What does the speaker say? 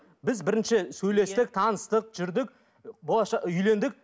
біз бірінші сөйлестік таныстық жүрдік үйлендік